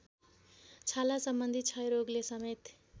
छालासम्बन्धी क्षयरोगले समेत